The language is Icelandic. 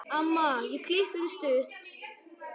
Amma ég klippi mig stutt.